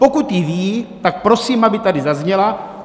Pokud ji ví, tak prosím, aby tady zazněla.